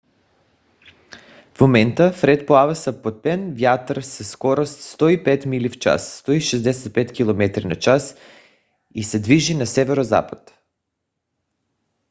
в момента фред плава с попътен вятър със скорост 105 мили в час 165 км/ч и се движи на северозапад